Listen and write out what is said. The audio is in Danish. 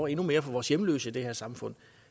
endnu mere for vores hjemløse i det her samfund